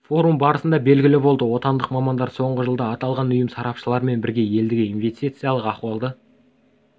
форум барысында белгілі болды отандық мамандар соңғы жылда аталған ұйым сарапшыларымен бірге елдегі инвестициялық ахуалды